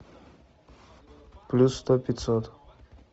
плюс сто пятьсот